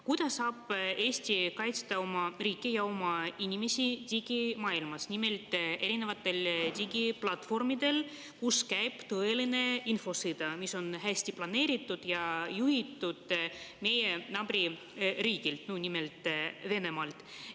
Kuidas saab Eesti kaitsta oma riiki ja oma inimesi digimaailmas erinevatel digiplatvormidel, kus käib tõeline infosõda, mis on hästi planeeritud ja juhitud meie naaberriigist, nimelt Venemaalt?